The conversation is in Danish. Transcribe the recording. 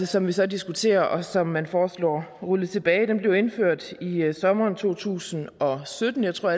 som vi så diskuterer og som man foreslår rullet tilbage blev indført i i sommeren to tusind og sytten jeg tror